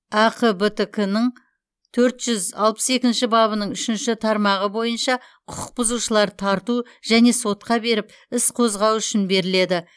әқбтк нің төрт жүз алпыс екінші бабының үшінші тармағы бойынша құқық бұзушыларды тарту және сотқа беріп іс қозғау үшін беріледі